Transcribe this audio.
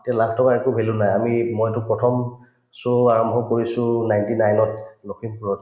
এতিয়া লাখটকাৰ একো value নাই আমি মইতো প্ৰথম show আৰম্ভ কৰিছো ninety nine ত লখিমপুৰত